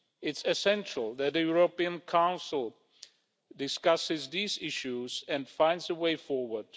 It is essential that the European Council discusses these issues and finds a way forward.